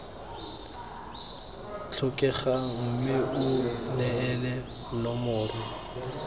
tlhokegang mme o neele nomoro